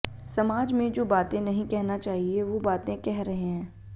समाज में जो बातें नहीं कहना चाहिए वो बातें कह रहे हैं